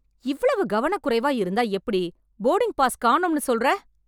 இவ்வளவு கவனக்குறைவா இருந்தா எப்படி?! போர்டிங்க் பாஸ் காணோம்னு சொல்லுற!